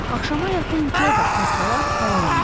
Axşama yaxın Co da az qala havalandı.